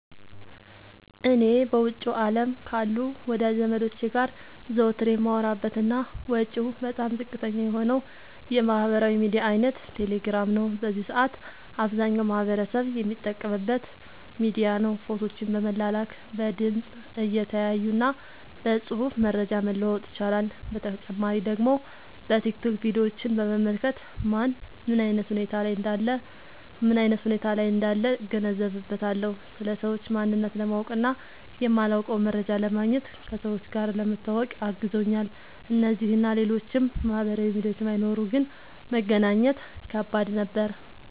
እኔ በውጭው አለም ካሉ ወዳጅ ዘመዶቸ ጋር ዘወትር የማወራበት እና ወጪው በጣም ዝቅተኛ የሆነው የማህበራዊ ሚዲያ አይነት ቴሌግራም ነው። በዚህ ሰአት አብዛኛው ማህበረሰብ የሚጠቀምበት ሚዲያ ነው። ፎቶዎችን ለመላላክ፣ በድምፅ(እየተያዩ) እና በፅሁፍ መረጃ መለዋወጥ ይቻላል። በተጨማሪ ደግሞ በቲክቶክ ቪዲዮችን በመመልከት ማን ምን አይነት ሁኔታ ላይ እንዳለ እገነዘብበታለሁ። ስለ ሰዎች ማንነት ለማወቅ እና የማላውቀውን መረጃ ለማግኘት፣ ከሰዎች ጋር ለመተዋወቅ አግዞኛል። እነዚህ እና ሌሎችም ማህበራዊ ሚዲያዎች ባይኖሩ ግን መገናኘት ከባድ ነበር።